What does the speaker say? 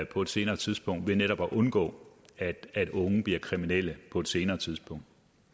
på et senere tidspunkt ved netop at undgå at unge bliver kriminelle på et senere tidspunkt